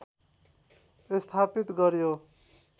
स्थापित गर्‍यो